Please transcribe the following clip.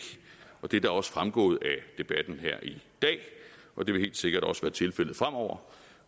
det er da også fremgået af debatten her i dag og det vil helt sikkert også være tilfældet fremover